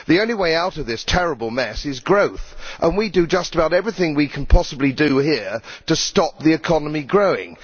The only way out of this terrible mess is growth, and we do just about everything we can possibly do here to stop the economy growing.